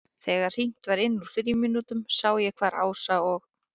Þegar hringt var inn úr frímínútunum sá ég hvar Ása og